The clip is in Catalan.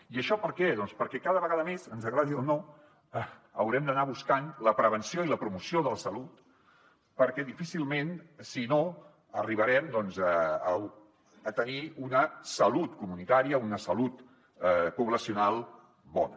i això per què doncs perquè cada vegada més ens agradi o no haurem d’anar buscant la prevenció i la promoció de la salut perquè difícilment si no arribarem a tenir una salut comunitària una salut poblacional bona